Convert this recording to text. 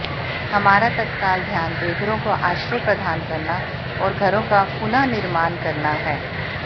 हमारा तत्काल ध्यान बेघरों को आश्रय प्रदान करना और घरों का पुनर्निर्माण करना है